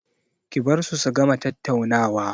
Ki bar su su gama tattaunawa!